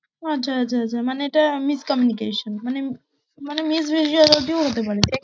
ও আচ্ছা আচ্ছা আচ্ছা, মানে এটা miscommunication মানে মানে misbehaviour ও হতে পারে।